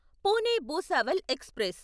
Pune Bhusawal express